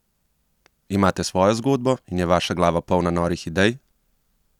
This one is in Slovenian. Imate svojo zgodbo in je vaša glava polna norih idej?